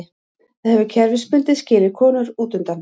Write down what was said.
Það hefur kerfisbundið skilið konur útundan.